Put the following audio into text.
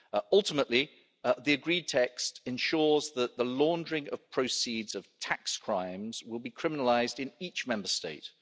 Ultimately, the agreed text ensures that the laundering of proceeds of tax crimes will be criminalised in each Member State.